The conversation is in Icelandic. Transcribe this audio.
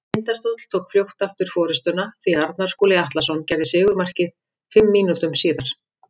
Tindastóll tók fljótt aftur forystuna því Arnar Skúli Atlason gerði sigurmarkið fimm mínútum síðar.